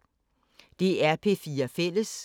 DR P4 Fælles